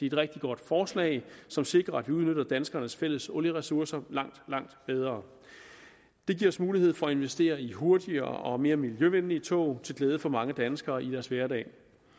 et rigtig godt forsalg som sikrer at vi udnytter danskernes fælles olieressourcer langt langt bedre det giver os mulighed for at investere i hurtigere og mere miljøvenlige tog til glæde for mange danskere i deres hverdag